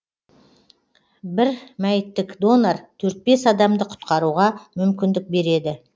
бір мәйіттік донор адамды құтқаруға мүмкіндік береді